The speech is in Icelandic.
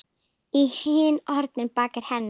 inn horn í baki hennar.